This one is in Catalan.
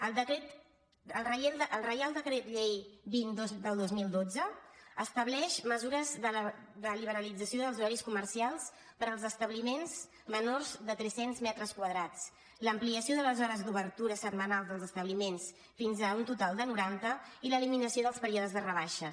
el reial decret llei vint del dos mil dotze estableix mesures de liberalització dels horaris comercials per als establiments menors de tres cents metres quadrats l’ampliació de les hores d’obertura setmanal dels establiments fins a un total de noranta i l’eliminació dels períodes de rebaixes